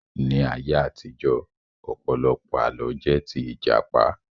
Ní ayé àtijọ́, ọ̀pọ̀lọpọ̀ Àlọ́ jẹ́ tí Ìjàpá